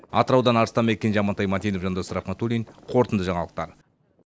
атыраудан арыстанбек кенже амантай мәтенов жандос рахметуллин қорытынды жаңалықтар